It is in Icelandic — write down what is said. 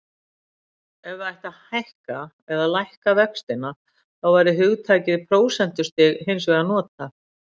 Ef það ætti að hækka eða lækka vextina þá væri hugtakið prósentustig hins vegar notað.